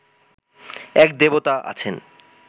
এক দেবতা আছেন